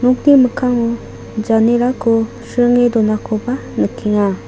nokni mikkango janerako sringe donakoba nikenga.